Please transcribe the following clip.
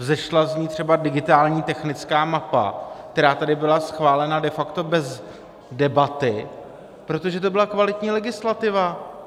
Vzešla z ní třeba digitální technická mapa, která tady byla schválena de facto bez debaty, protože to byla kvalitní legislativa.